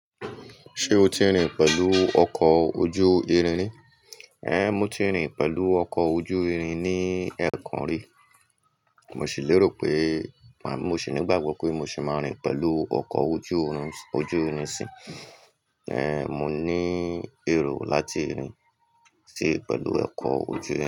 Ṣé o ti rìn pẹ̀lú ọkọ̀ ojú irin rí? Ẹn, mo ti rìn pẹ̀lú ọkọ̀ ojú irin ní ẹ̀ẹ̀kan rí. Mo sì lérò pé, màá mo sì ní gbàgbọ́ pé mo sì máa rìn pẹ̀lú ọkọ̀ ojú irin, ojú irin sí. Ẹn, mo níí èrò láti rìn ṣí pẹ̀lú ọkọ̀ ojú irin.